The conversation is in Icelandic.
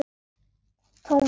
Thomas glotti.